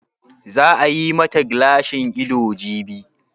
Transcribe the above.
Za a yi ma ta gilashin ido jibi?